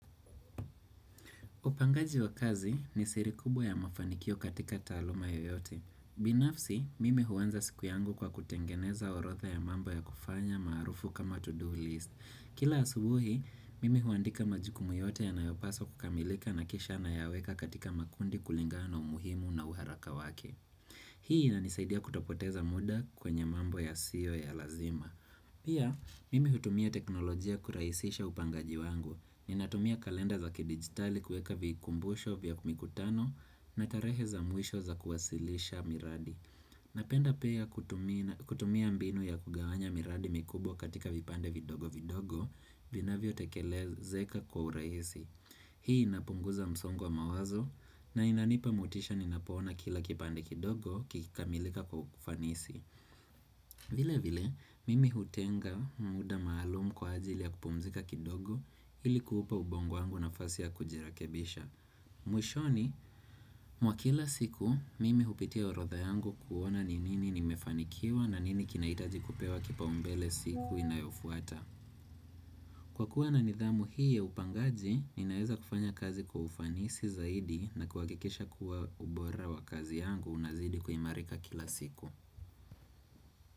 Upangaji wa kazi ni siri kubwa ya mafanikio katika taaluma yoyote. Binafsi, mimi huanza siku yangu kwa kutengeneza orotha ya mambo ya kufanya maarufu kama to-do list. Kila asubuhi, mimi huandika majukumu yote yanayopaswa kukamilika na kishana ya weka katika makundi kulingana umuhimu na uharaka wake. Hii na inisaidia kutopoteza muda kwenye mambo yasio ya lazima. Pia, mimi hutumia teknolojia kuraisisha upangaji wangu. Ninatumia kalenda za kidigitali kuweka vikumbusho vya kumikutano na tarehe za mwisho za kuwasilisha miradi Napenda pia kutumia mbinu ya kugawanya miradi mikubwa katika vipande vidogo vidogo vina vyo tekele zeka kwa urahisi Hii inapunguza msongo wa mawazo na inanipa motisha ninapoona kila kipande kidogo kikikamilika kwa ufanisi vile vile, mimi hutenga muda maalumu kwa ajili ya kupumzika kidogo ilikuupa ubongo wangu na fasi ya kujirekebisha mwishoni, mwa kila siku mimi hupitia orotha yangu kuona ni nini nimefanikiwa na nini kinahitaji kupewa kipa umbele siku inayofuata Kwa kuwa na nidhamu hii ya upangaji, ninaeza kufanya kazi kwa ufanisi zaidi na kuakikisha kuwa ubora wa kazi yangu unazidi kuimarika kila siku.